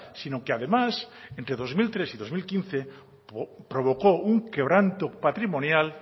sino que además entre dos mil tres y dos mil quince provocó un quebranto patrimonial